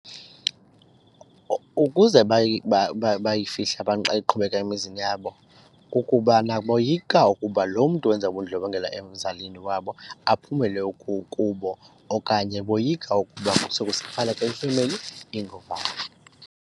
Ukuze bayifihle abantu xa iqhubeka emizini yabo kukubana boyika ukuba lo mntu wenza ubundlobongela emzalini wabo aphumelele kubo okanye boyika ukuba femeli .